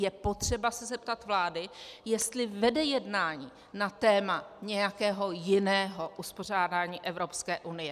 Je potřeba se zeptat vlády, jestli vede jednání na téma nějakého jiného uspořádání Evropské unie.